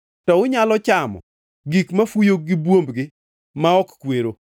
To unyalo chamo gik mafuyo gi buombgi ma ok kwero.